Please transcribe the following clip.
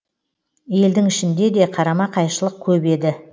елдің ішінде де қарама қайшылық көп еді